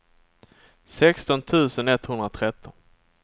sexton tusen etthundratretton